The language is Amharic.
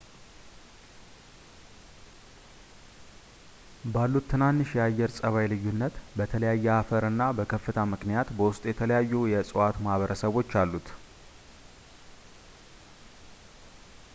ባሉት ትናንሽ የአየር ጸባይ ልዩነት በተለያየ አፈር እና በከፍታ ምክንያት በውስጡ የተለያዩ የእፅዋት ማህበረሰቦች አሉት